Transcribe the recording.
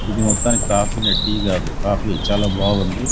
ఇది మొత్తానికి కాఫీ నే టీ కాదు కాఫీ చాలా బాగుంది.